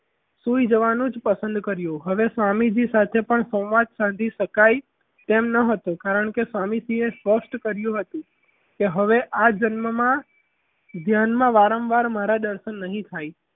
સુઈ જવાનું જ પસંદ કર્યું અને સ્વામીજી સાથે પણ સંવાદ ખરેડી કસાઈ તેમ ન હતું કારણ કે સ્વામીજીએ સ્પષ્ટ કહ્યું હતું કે હવે આ જન્મમાં ધ્યાનમાં વારંવાર મારા દર્શન નહીં થાય.